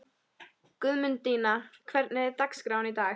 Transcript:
Guðmundína, hvernig er dagskráin í dag?